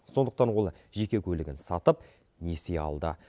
сондықтан ол жеке көлігін сатып несие алды